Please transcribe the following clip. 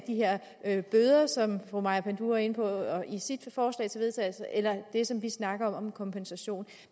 de her bøder som fru maja panduro var inde på i sit forslag til vedtagelse eller det som vi snakker om med kompensation